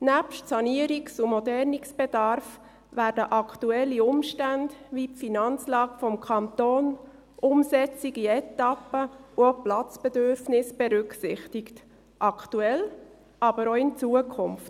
Nebst Sanierungs- und Modernisierungsbedarf werden aktuelle Umstände wie die Finanzlage des Kantons, eine Umsetzung in Etappen und auch Platzbedürfnisse berücksichtigt – aktuell, aber auch in Zukunft.